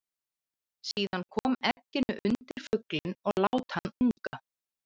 Síðan kom egginu undir fuglinn og lát hann unga.